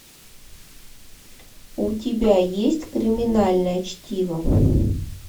у тебя есть криминальное чтиво